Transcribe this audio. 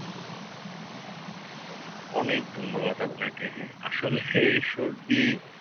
অনেক ধন্যবাদ আপনাকে আসলে এ সর্দি